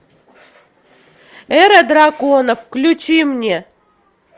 эра драконов включи мне